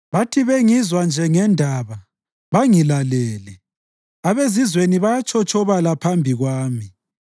Bathi bengizwa nje ngendaba, bangilalele; abezizweni bayatshotshobala phambi kwami.